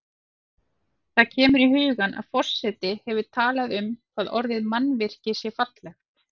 Það kemur í hugann að forseti hefur talað um hvað orðið mannvirki sé fallegt.